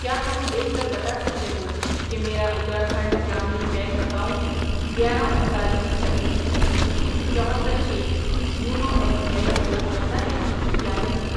کیا تم دیکھ کر بتا سکتے ہو کہ میرا اتراکھنڈ گرامین بینک اکاؤنٹ گیارہ، انتالیس، چھبیس، چھبیس، چوہتر، چھ YONO S B I support کرتا ہے یا نہیں؟